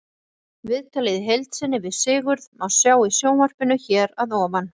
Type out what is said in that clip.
Viðtalið í heild sinni við Sigurð má sjá í sjónvarpinu hér að ofan.